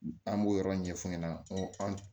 An b'o yɔrɔ ɲɛf'u ɲɛna an